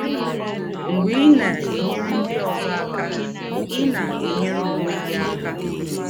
Mgbe ị na - enyere ndị ọzọ aka, ị na - enyere ọnwe gị aka.